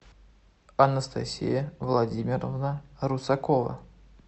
анастасия владимировна русакова